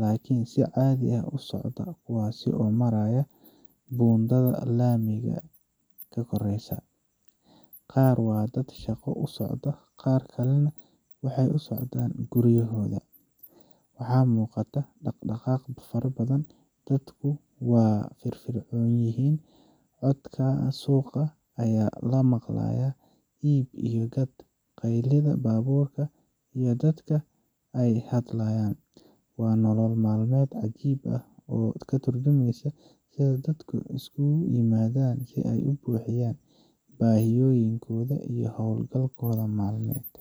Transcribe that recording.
laakiin si caadi ah u socda kuwaas oo maraya buundada laamiga ka koraysa. Qaar waa dad shaqo u socda, qaar kalena waxay u socdaan guryahooda. Waxaa muuqata dhaq dhaqaaq badan, dadku waa firfircoon yihiin, codadka suuqa ayaa la maqlayaa, iib iyo gad, qaylada baabuurta iyo dadka oo hadlaya. Waa nolol maalmeed cajiib ah oo ka tarjumaysa sida dadku isugu yimaadaan si ay u buuxiyaan baahiyooyinkooda iyo hawlahooda maalmeet.